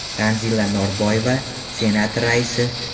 Tanzila Norboyev, Senat raisi.